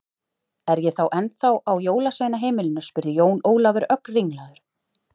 Er ég þá ennþá á jólasveinaheimilinu spurði Jón Ólafur, ögn ringlaður.